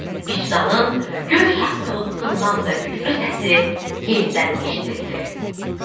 Vicdanın göy şaqqıltısından da güclü səsi yenidən eşidildi.